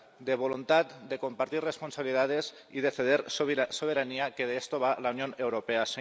de voluntad de compartir responsabilidades y de ceder soberanía, que de esto va la Unión Europea.